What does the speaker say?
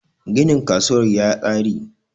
ginin kasuwar ya tsari!